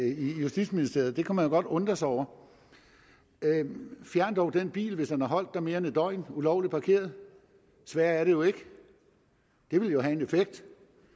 i justitsministeriet det kunne man jo godt undre sig over fjern dog den bil hvis den har holdt der mere end et døgn ulovligt parkeret sværere er det jo ikke det ville jo have en effekt